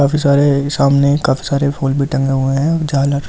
काफी सारे सामने काफी सारे फूल भी टंगे हुए हैं झालर--